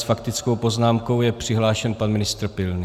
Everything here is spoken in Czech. S faktickou poznámkou je přihlášen pan ministr Pilný.